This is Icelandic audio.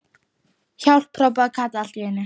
HJÁLP.! hrópaði Kata allt í einu.